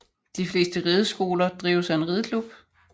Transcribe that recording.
De fleste rideskoler drives af en rideklub